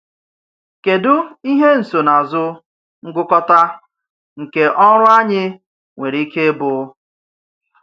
Kèdụ ihe nsonaazụ ngụkọta nke ọrụ anyị nwere ike ịbụ?